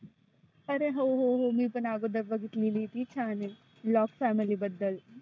आरे हो हो मी पण आगोदर बघितली ती छान आहे. lock family बद्दल.